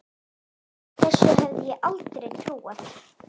Þessu hefði ég aldrei trúað.